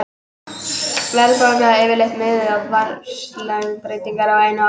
Verðbólga er yfirleitt miðuð við verðlagsbreytingar á einu ári.